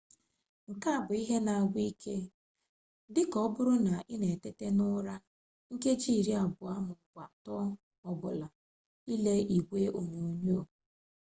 nke a bụ ihe na-agwụ ike dịka ọbụrụ na ị na-etete n'ụra nkeji iri abụọ m'ọbụ atọ ọbụla ile igwe onyonyo